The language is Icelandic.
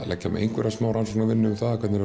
leggja á mig einhverja rannsóknarvinnu um hvernig